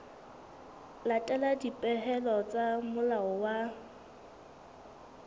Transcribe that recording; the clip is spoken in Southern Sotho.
latela dipehelo tsa molao wa